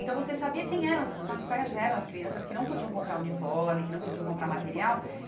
Então você sabia quem eram as, quais eram as crianças que não podiam comprar uniforme, que não podiam comprar material.